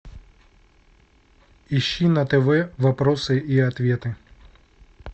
ищи на тв вопросы и ответы